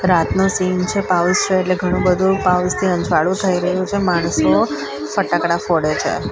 રાતનો સીન છે એટલે ઘણું-બધું અંજવાળું થઈ રહ્યું છે માણસો ફટાકડા ફોડે છે.